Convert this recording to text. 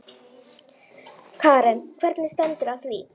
Karen: Hvernig stendur á því?